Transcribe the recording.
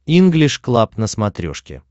инглиш клаб на смотрешке